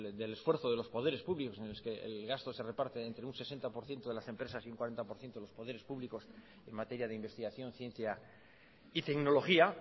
del esfuerzo de los poderes públicos en los que el gasto se reparte entre un sesenta por ciento de las empresas y un cuarenta los poderes públicos en materia de investigación ciencia y tecnología